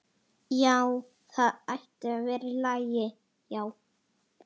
Já, það ætti að vera í lagi.